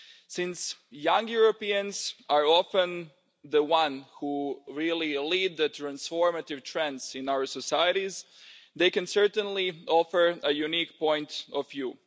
Since young Europeans are often the ones who really lead the transformative trends in our societies, they can certainly offer a unique point of view.